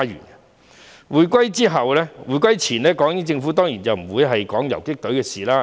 在回歸前，港英政府當然不會談游擊隊的事情。